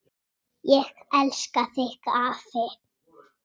Ég elska þig, afi.